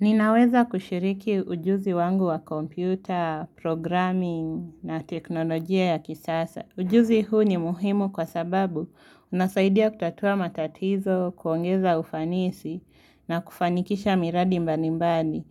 Ninaweza kushiriki ujuzi wangu wa kompyuta, programming na teknolojia ya kisasa. Ujuzi huu ni muhimu kwa sababu unasaidia kutatua matatizo, kuongeza ufanisi na kufanikisha miradi mbali mbali,